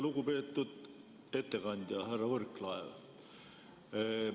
Lugupeetud ettekandja härra Võrklaev!